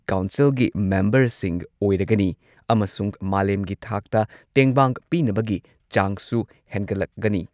ꯀꯥꯎꯟꯁꯤꯜꯒꯤ ꯃꯦꯝꯕꯔꯁꯤꯡ ꯑꯣꯏꯔꯒꯅꯤ ꯑꯃꯁꯨꯡ ꯃꯥꯂꯦꯝꯒꯤ ꯊꯥꯛꯇ ꯇꯦꯡꯕꯥꯡ ꯄꯤꯅꯕꯒꯤ ꯆꯥꯡꯁꯨ ꯍꯦꯟꯒꯠꯂꯒꯅꯤ꯫